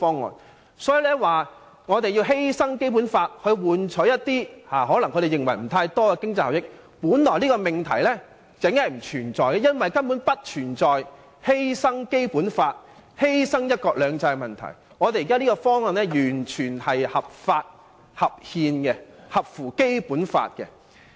因此，反對派說甚麼要犧牲《基本法》換取一些他們可能認為並不算多的經濟效益的命題本來就不存在，因為現時根本不存在犧牲《基本法》或犧牲"一國兩制"的問題，我們現在這個方案完全是合法、合憲、合乎《基本法》的。